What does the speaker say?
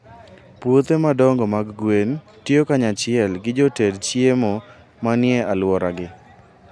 Puothe madongo mag gwen tiyo kanyachiel gi joted chiemo manie alworagi.